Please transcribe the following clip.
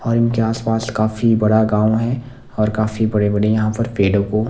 और इनके आसपास काफी बड़ा गांव है और काफी बड़े-बड़े यहाँ पर पेड़ों को--